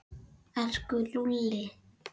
Elsku Lúlli.